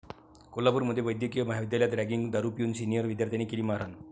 कोल्हापूरमध्ये वैद्यकीय महाविद्यालयात रॅगिंग, दारू पिऊन सिनिअर विद्यार्थ्यांनी केली मारहाण